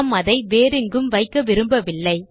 நாம் அதை வேறெங்கும் வைக்க விரும்பவில்லை